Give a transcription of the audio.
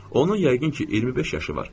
Onun yəqin ki, 25 yaşı var.